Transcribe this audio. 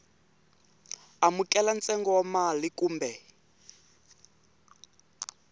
amukela ntsengo wa mali kumbe